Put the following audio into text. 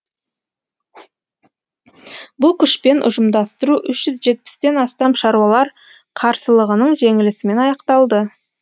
бұл күшпен ұжымдастыру үш жүз жетпістен астам шаруалар қарсылығының жеңілісімен аяқталды